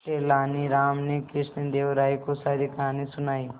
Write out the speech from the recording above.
तेलानी राम ने कृष्णदेव राय को सारी कहानी सुनाई